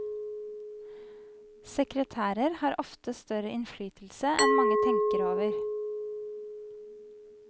Sekretærer har ofte større innflytelse enn mange tenker over.